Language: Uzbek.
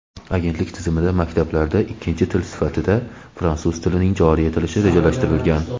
Agentlik tizimidagi maktablarda ikkinchi til sifatida fransuz tilining joriy etilishi rejalashtirilgan.